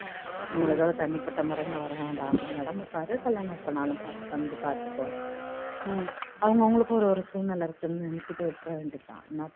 தனிபட்டா முறையில் வரவேண்டாம் நீ உடம்ப பாரு கல்யாணம் எப்போ வேணாலும் வந்து பார்த்துக்கோ அவங்க அவங்களுக்கு ஒரு சூழ்நிலை இருக்குன்னு நினைச்சிட்டு விட்டுற வேண்டிதான் என்ன பண்றது